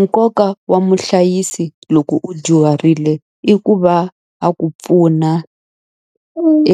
Nkoka wa muhlayisi loko u dyuharile i ku va a ku pfuna